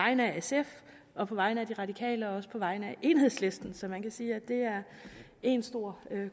vegne af sf og på vegne af de radikale og også på vegne af enhedslisten så man kan sige at det er en stor